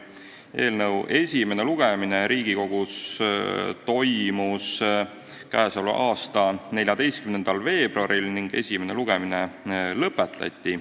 Eelnõu esimene lugemine Riigikogus toimus 14. veebruaril ning esimene lugemine lõpetati.